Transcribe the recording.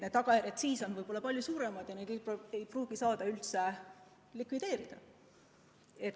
Need tagajärjed siis on võib-olla palju suuremad ja neid ei pruugi saada üldse likvideerida.